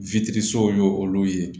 witirisiw y'olu ye